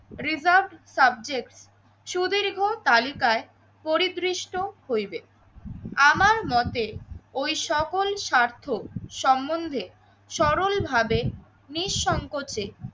reserve subject সুদীর্ঘ তালিকায় পরিদৃষ্ট হইবে। আমার মতে ওই সকল স্বার্থ সম্বন্ধে সরল ভাবে নিঃসংকোচে